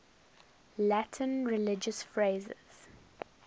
latin religious phrases